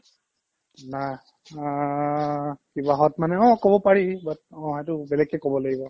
না মা কিবাহত মানে অ ক'ব পাৰি but অ সেইটো বেলেগকে ক'ব লাগিব